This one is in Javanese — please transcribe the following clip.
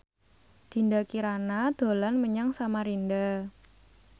Dinda Kirana dolan menyang Samarinda